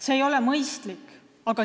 See ei ole mõistlik.